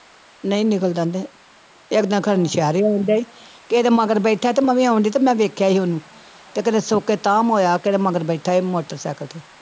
ਨਹੀਂ ਨਿਕਲਦਾ ਤੇ ਇੱਕ ਦਿਨ ਖਨੀ ਸ਼ਹਿਰੋਂ ਆਉਂਦਾ ਸੀ, ਕਿਸੇ ਦੇ ਮਗਰ ਬੈਠਾ ਤੇ ਮੈਂ ਵੀ ਆਉਂਦੀ ਤੇ ਮੈਂ ਵੀ ਵੇਖਿਆ ਸੀ ਉਹਨੂੰ ਤੇ ਕਦੇ ਸੋਕੇ ਤਾਮ ਹੋਇਆ ਕਿਸੇ ਦੇ ਮਗਰ ਬੈਠਾ ਸੀ ਮੋਟਰ ਸਾਇਕਲ ਤੇ।